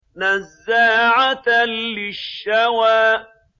نَزَّاعَةً لِّلشَّوَىٰ